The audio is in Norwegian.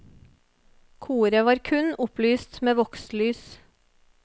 Koret var kun opplyst med vokslys.